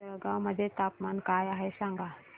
आज जळगाव मध्ये तापमान काय आहे सांगा